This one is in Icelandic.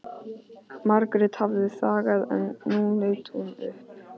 Margrét hafði þagað en nú leit hún upp.